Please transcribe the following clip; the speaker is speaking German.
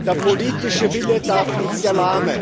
Der politische Wille darf nicht erlahmen.